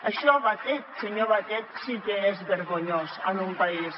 això senyor batet sí que és vergonyós en un país